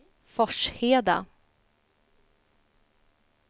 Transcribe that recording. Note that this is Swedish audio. Forsheda